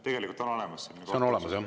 Tegelikult on olemas selline kohtuasi.